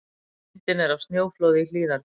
Myndin er af snjóflóði í Hlíðarfjalli.